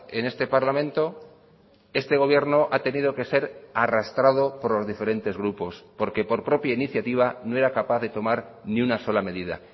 en este parlamento este gobierno ha tenido que ser arrastrado por los diferentes grupos porque por propia iniciativa no era capaz de tomar ni una sola medida